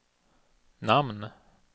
namn